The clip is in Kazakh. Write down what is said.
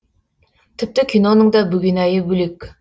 тіпті киноның да бөгенайы бөлек